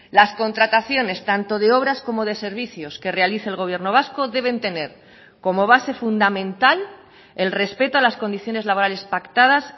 las contrataciones tanto de obras como de servicios que realice el gobierno vasco deben tener como base fundamental el respeto a las condiciones laborales pactadas